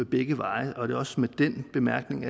begge veje og det er også med den bemærkning